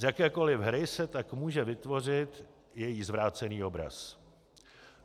Z jakékoli hry se tak může vytvořit její zvrácený obraz.